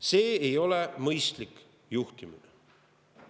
See ei ole mõistlik juhtimine.